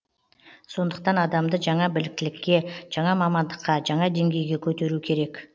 сондықтан адамды жаңа біліктілікке жаңа мамандыққа жаңа деңгейге көтеру керек